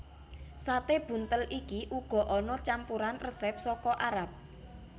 Sate buntel iki uga ana campuran resep saka Arab